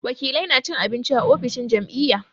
Wakilai na cin abinci a ofishin jam'iyya.